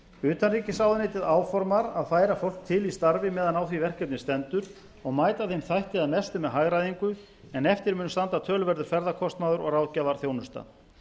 utanríkisráðuneytið áformar að færa fólk til í starfi meðan á því verkefni stendur og mæta þeim þætti að mestu með hagræðingu en eftir mun standa töluverður ferðakostnaður og ráðgjafarþjónusta